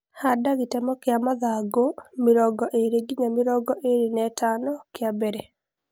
handa gĩtemo kĩa mathangũ mĩrongo ĩrĩ nginya mĩrongo ĩrĩ na ithano kĩa mbele